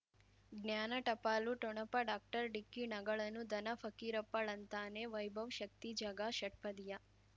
ಜ್ಞಾನ ಟಪಾಲು ಠೊಣಪ ಡಾಕ್ಟರ್ ಢಿಕ್ಕಿ ಣಗಳನು ಧನ ಫಕೀರಪ್ಪ ಳಂತಾನೆ ವೈಭವ್ ಶಕ್ತಿ ಝಗಾ ಷಟ್ಪದಿಯ